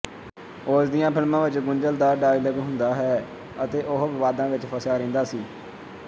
ਉਸਦੀਆਂ ਫ਼ਿਲਮਾਂ ਵਿੱਚ ਗੁੰਝਲਦਾਰ ਡਾਇਲਾਗ ਹੁੰਦਾ ਹੈ ਅਤੇ ਉਹ ਵਿਵਾਦਾਂ ਵਿੱਚ ਫਸਿਆ ਰਹਿੰਦਾ ਸੀ